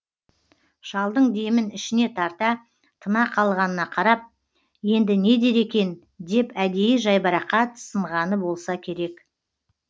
шалдың демін ішіне тарта тына қалғанына қарап енді не дер екен деп әдейі жайбарақат сынғаны болса керек